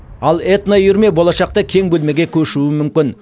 ал этноүйірме болашақта кең бөлмеге көшуі мүмкін